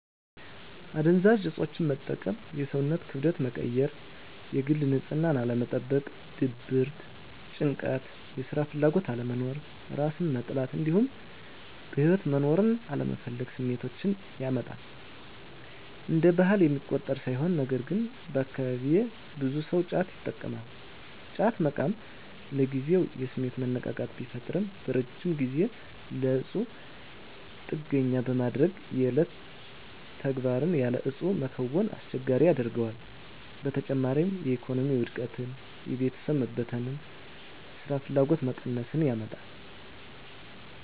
አደንዛዥ እፆችን መጠቀም የሰውነትን ክብደት መቀየር፣ የግል ንፅህናን አለመጠበቅ፣ ድብርት፣ ጭንቀት፣ የስራ ፍላጎት አለመኖር፣ እራስን መጥላት እንዲሁም በህይወት መኖርን አለመፈለግ ስሜቶችን ያመጣል። እንደ ባህል የሚቆጠር ሳይሆን ነገርግን አካባቢየ ብዙ ሰው ጫት ይቅማል። ጫት መቃም ለጊዜው የስሜት መነቃቃት ቢፈጥርም በረጅም ጊዜ ለእፁ ጥገኛ በማድረግ የዕለት ተግባርን ያለ እፁ መከወንን አስቸጋሪ ያደርገዋል። በተጨማሪም የኢኮኖሚ ውድቀትን፣ የቤተሰብ መበተን፣ ስራፍላጎት መቀነስን ያመጣል።